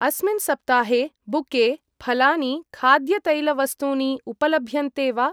अस्मिन् सप्ताहे बुके , फलानि , खाद्यतैलवस्तूनि उपलभ्यन्ते वा?